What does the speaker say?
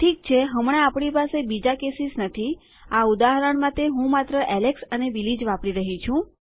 ઠીક છે હમણાં આપણી પાસે બીજા કેસીસ નથીઆ ઉદાહરણ માટે હું માત્ર એલેક્સ અને બિલી જ વાપરી રહી છું